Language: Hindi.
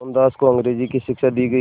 मोहनदास को अंग्रेज़ी की शिक्षा दी गई